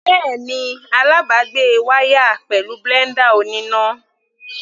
Bẹ́ẹ̀ni, alábàgbé wá yá a pẹ̀lú blender oníná.